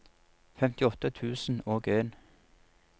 femtiåtte tusen og en